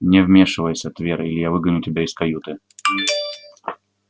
не вмешивайся твер или я выгоню тебя из каюты